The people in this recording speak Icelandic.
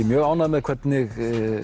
mjög ánægður með hvernig